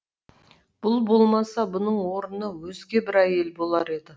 бұл болмаса бұның орнына өзге бір әйел болар еді